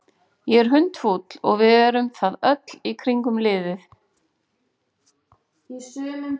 Ég er hundfúll og við erum það öll í kringum liðið.